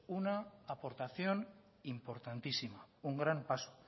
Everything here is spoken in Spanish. una aportación importantísima un gran paso